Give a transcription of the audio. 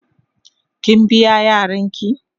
Kin biya Yaran ki?.